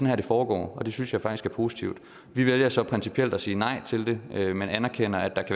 her det foregår og det synes jeg faktisk er positivt vi vælger så principielt at sige nej til det men anerkender at der